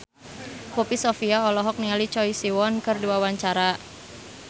Poppy Sovia olohok ningali Choi Siwon keur diwawancara